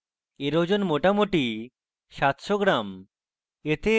এর ওজন মোটামুটি 700 গ্রাম